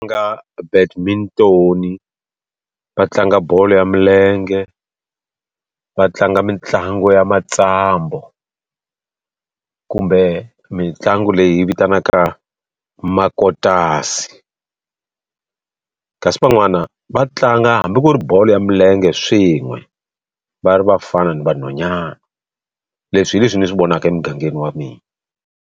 va tlanga bolo ya milenge, va tlanga mitlangu ya matsambu, kumbe mitlangu leyi vitanaka makotasi. Kasi van'wani va tlanga hambi ku ri bolo ya milenge swin'we, va ri vafana na vanhwanyana. Leswi hi leswi ni swi vonaka emugangeni wa mina.